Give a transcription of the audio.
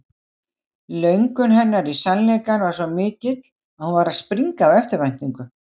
Löngun hennar í sannleikann var svo mikil að hún var að springa af eftirvæntingu.